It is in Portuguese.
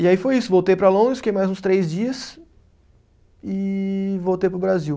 E aí foi isso, voltei para Londres, fiquei mais uns três dias e voltei para o Brasil.